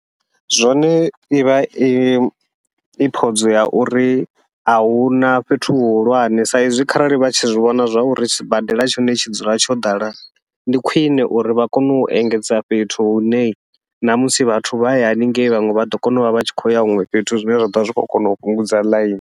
Zwone ivha i i podze ya uri ahuna fhethu hu hulwane, sa izwi kharali vha tshi zwivhona zwa uri sibadela tshone tshi dzula tsho ḓala ndi khwiṋe uri vha kone u engedza fhethu hune namusi vhathu vha ye haningei, vhaṅwe vhaḓo kona uvha vha tshi khou ya huṅwe fhethu zwine zwa ḓovha zwi khou kona u fhungudza ḽaini.